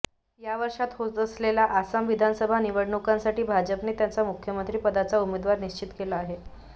या वर्षात होत असलेल्या आसाम विधानसभा निवडणुकांसाठी भाजपने त्यांचा मुख्यमंत्री पदाचा उमेदवार निश्चित केला आहे